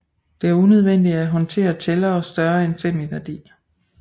Det er unødvendigt at håndtere tællere større end fem i værdi